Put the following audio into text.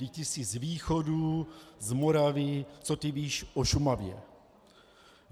Vždyť ty jsi z východu, z Moravy, co ty víš o Šumavě?